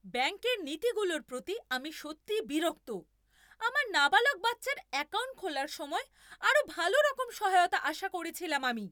ব্যাঙ্কের নীতিগুলোর প্রতি আমি সত্যিই বিরক্ত! আমার নাবালক বাচ্চার অ্যাকাউন্ট খোলার সময় আরও ভালোরকম সহায়তা আশা করেছিলাম আমি।